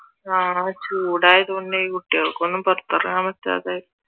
ആഹ് ചൂടായതുകൊണ്ട് കുട്ടികൾക്ക് ഒന്നും പുറത്തിറങ്ങാൻ പറ്റാതെ